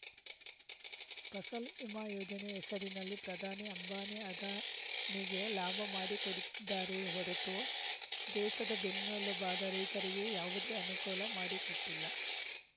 ಫಸಲ್‌ ವಿಮಾ ಯೋಜನೆ ಹೆಸರಿನಲ್ಲಿ ಪ್ರಧಾನಿ ಅಂಬಾನಿ ಅದಾನಿಗೆ ಲಾಭ ಮಾಡಿಕೊಡುತ್ತಿದ್ದಾರೆಯೇ ಹೊರತು ದೇಸದ ಬೆನ್ನೆಲುಬಾದ ರೈತರಿಗೆ ಯಾವುದೇ ಅನುಕೂಲ ಮಾಡಿಕೊಟ್ಟಿಲ್ಲ